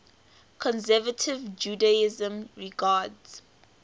conservative judaism regards